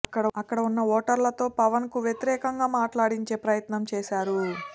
అక్కడ ఉన్న ఓటర్లతో పవన్ కు వ్యతిరేకంగా మాట్లాడించే ప్రయత్నం చేశారు